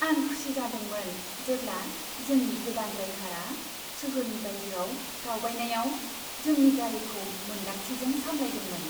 आं खुसि जादोंमोन जेब्ला जोंनि गोदान ड्राइभारा सोहोरनि बायजोआव दावबायनायाव जोंनि गारिखौ मोन्दांथिजों सामलायदोंमोन।